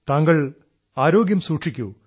താങ്കൾ ആരോഗ്യം സൂക്ഷിക്കൂ